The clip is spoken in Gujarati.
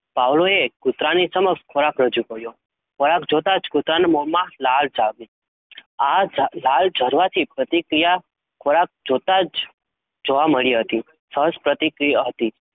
Pavlov એ કૂતરાની સમક્ષ ખોરાક રજુ કર્યો. ખોરાક જોતાં જ કુતરાના મોમાં લાળ જામી. આ જા લાળ જરવાથી પ્રતિક્રિયા ખોરાક જોતા જ જોવા મળી હતી. first પ્રતિક્રિય હતી